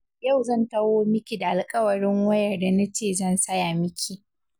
Yau zan tawo miki da alƙawarin wayar da na ce zan saya miki.